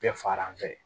Bɛɛ faran fɛ